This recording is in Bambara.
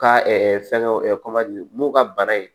Ka fɛnkɛ mun ka bana ye